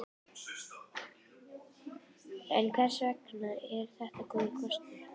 En hvers vegna er þetta góður kostur?